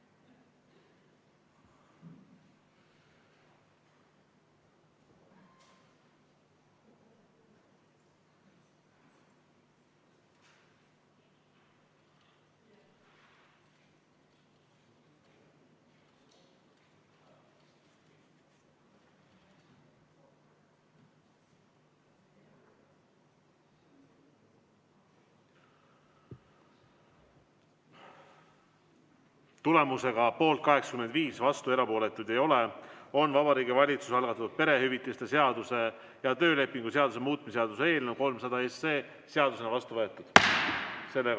Tulemusega poolt 85, vastuolijaid ja erapooletuid ei ole, on Vabariigi Valitsuse algatatud perehüvitiste seaduse ja töölepingu seaduse muutmise seaduse eelnõu 300 seadusena vastu võetud.